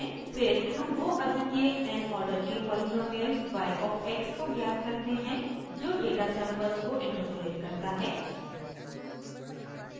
फिर हम वो अद्वितीय n आर्डर के पॉलीनॉमिअल y of x को ज्ञात करते हैं जो डेटा सैंपल्स को इंटरपोलेट करता है